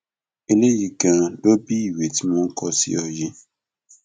eléyìí ganan ló bi ìwé tí mò ń kọ sí ọ yìí